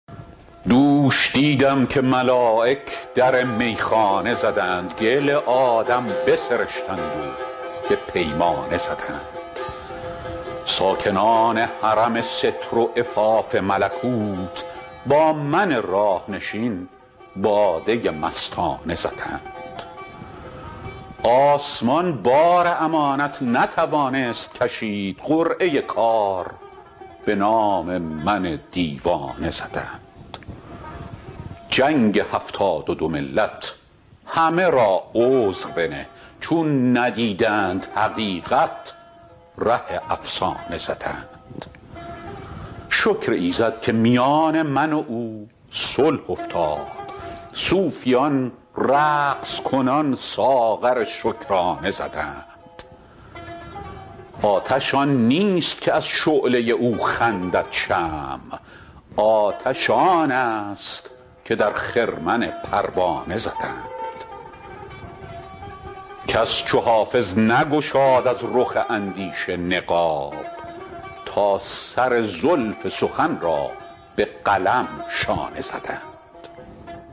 دوش دیدم که ملایک در میخانه زدند گل آدم بسرشتند و به پیمانه زدند ساکنان حرم ستر و عفاف ملکوت با من راه نشین باده مستانه زدند آسمان بار امانت نتوانست کشید قرعه کار به نام من دیوانه زدند جنگ هفتاد و دو ملت همه را عذر بنه چون ندیدند حقیقت ره افسانه زدند شکر ایزد که میان من و او صلح افتاد صوفیان رقص کنان ساغر شکرانه زدند آتش آن نیست که از شعله او خندد شمع آتش آن است که در خرمن پروانه زدند کس چو حافظ نگشاد از رخ اندیشه نقاب تا سر زلف سخن را به قلم شانه زدند